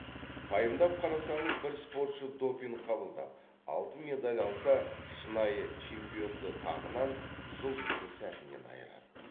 пайымдап қарасаңыз бір спортшы допинг қабылдап алтын медаль алса шынайы чемпионды тағынан жұлдызды сәтінен айырады